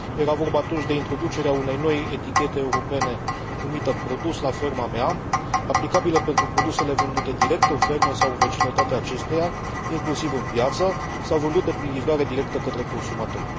Era vorba atunci de introducerea unei noi etichete europene numită Produs la ferma mea, aplicabilă pentru produsele vândute direct în fermă sau în vecinătatea acesteia, inclusiv în piață, sau vândute prin livrare directă către consumatori.